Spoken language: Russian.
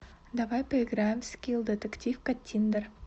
давай поиграем в скилл детектив каттиндер